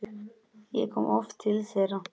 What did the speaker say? Ég kom oft til þeirra.